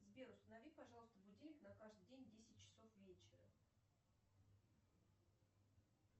сбер установи пожалуйста будильник на каждый день на десять часов вечера